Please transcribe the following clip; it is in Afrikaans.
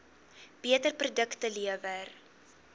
beter produkte lewer